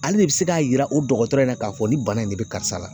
Ale de bɛ se k'a jira o dɔgɔtɔrɔ in na k'a fɔ ni bana in de bɛ karisa la